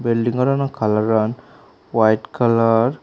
building ghor ano colour an white colour.